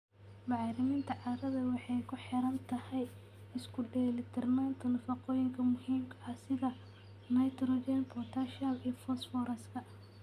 Bacriminta carrada waxay ku xiran tahay isku dheelitirnaanta nafaqooyinka muhiimka ah sida nitrogen, potassium iyo fosfooraska.